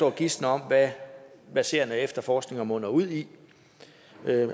og gisne om hvad serien af efterforskninger munder ud i